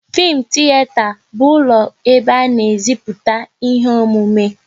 Fim tiyeta bụ ụlọ ebe a na e ziputa ihe omume